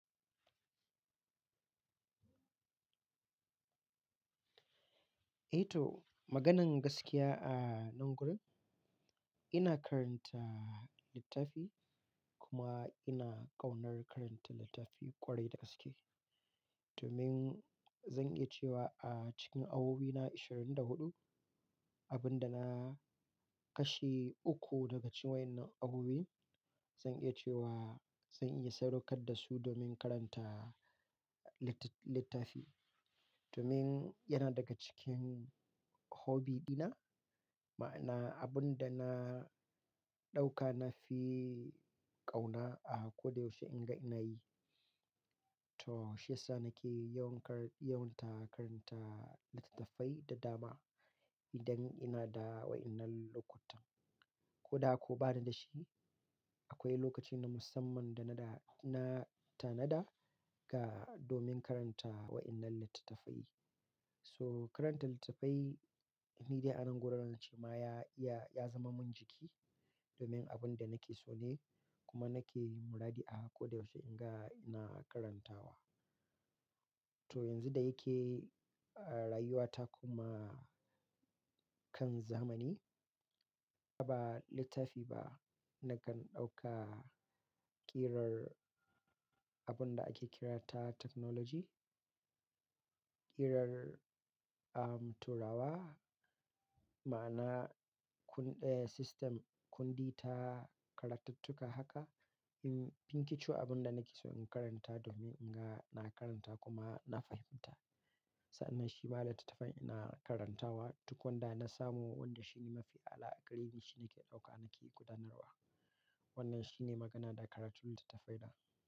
Eh to, maganan gaskiya a nan gurin, ina karanta littafi kuma ina ƙaunar karanta littafi ƙwarai da gaske. Domin zan iya cewa a cikin awowina ashirin da huɗu, abin da na kashe uku daga cikin wa'innan awowi, zan iya cewa zan iya sadaukar da su domin karanta littaf-littafi. Domin yana daga cikin hobby dina, ma'ana abin da na ɗauka nafi ƙauna a ko da yaushe in ga ina yi. To, shi ya sa nake yawan kar-- yawan ta karanta littattafai da dama idan ina da wa'innan lokuta. Ko da ko ba ni dashi, akwai lokaci na musamman da na da-- na tanada ga domin karanta wa'innan littattafai. So karanta littattafai ni dai a nan gurin rance ma ya iya-- ya zama min jiki domin abin da nake so ne kuma nake muradi a ko da yaushe in ga ina karantawa. To yanzu da yake a rayuwa ta kuma kan zamani, a ba littafi ba nakan ɗauka ƙirar abin da ake kira ta technology, ƙirar, am, turawa, ma'ana kundi system, kundi ta karattuka haka, in binki ce abin da nake so in karanta domin in ga ina karanta kuma na fahimta. Sa'annan shi ba littattafai ina karantawa, duk wanda na samu wanda shi ne mafi alaƙa da shi nake ɗauka nake gudanarwa. Wannan shi ne magana da karatu littattafai na.